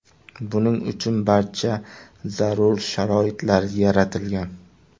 Buning uchun barcha zarur sharoitlar yaratilgan.